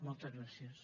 moltes gràcies